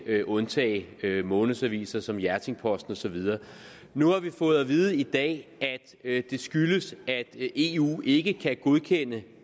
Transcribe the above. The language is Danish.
vil undtage månedsaviser som hjerting posten og så videre nu har vi fået at vide i dag at det skyldes at eu ikke kan godkende